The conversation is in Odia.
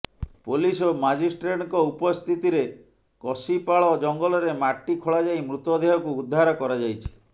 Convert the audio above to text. ପୋଲିସ ଓ ମାଜିଷ୍ଟ୍ରେଟଙ୍କ ଉପସ୍ଥିତିରେ କସିପାଳ ଜଙ୍ଗଲରେ ମାଟି ଖୋଳାଯାଇ ମୃତଦେହକୁ ଉଦ୍ଧାର କରାଯାଇଛି